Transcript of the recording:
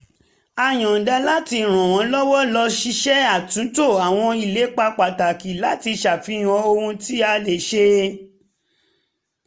a yọ̀nda láti ràn wọ́n lọ́wọ́ ṣíṣe àtúntò àwọn ìlépa pàtàkì láti ṣàfihàn ohun tí a lè ṣe